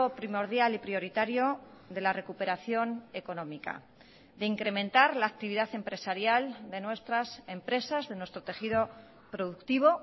primordial y prioritario de la recuperación económica de incrementar la actividad empresarial de nuestras empresas de nuestro tejido productivo